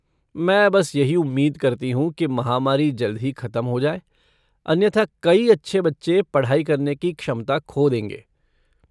मैं बस यही उम्मीद करती हूँ कि महामारी जल्द ही खत्म हो जाए, अन्यथा कई अच्छे बच्चे पढ़ाई करने की क्षमता खो देंगे।